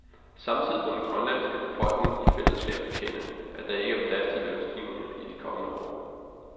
Samtidig må den grønlandske befolkning i fællesskab erkende, at der ikke er plads til lønstigninger i de kommende år.